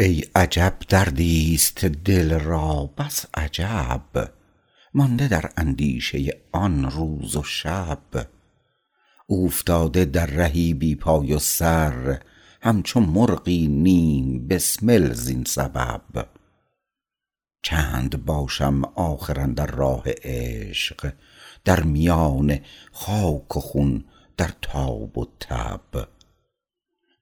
ای عجب دردی است دل را بس عجب مانده در اندیشه آن روز و شب اوفتاده در رهی بی پای و سر همچو مرغی نیم بسمل زین سبب چند باشم آخر اندر راه عشق در میان خاک و خون در تاب و تب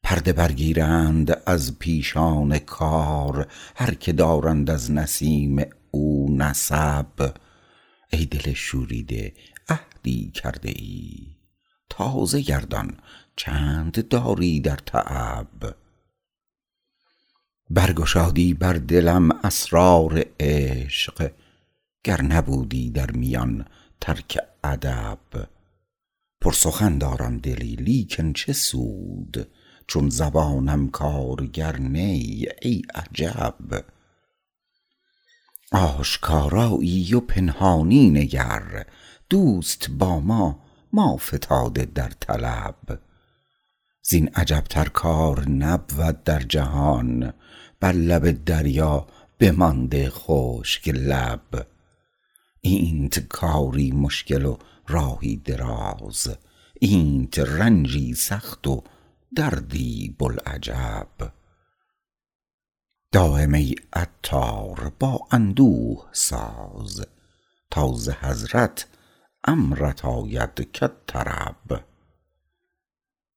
پرده برگیرند از پیشان کار هر که دارند از نسیم او نسب ای دل شوریده عهدی کرده ای تازه گردان چند داری در تعب برگشادی بر دلم اسرار عشق گر نبودی در میان ترک ادب پر سخن دارم دلی لیکن چه سود چون زبانم کارگر نی ای عجب آشکارایی و پنهانی نگر دوست با ما ما فتاده در طلب زین عجب تر کار نبود در جهان بر لب دریا بمانده خشک لب اینت کاری مشکل و راهی دراز اینت رنجی سخت و دردی بوالعجب دایم ای عطار با اندوه ساز تا ز حضرت امرت آید کالطرب